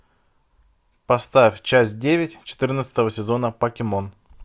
поставь часть девять четырнадцатого сезона покемон